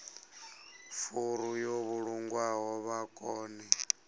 furu yo vhulungwaho vha kone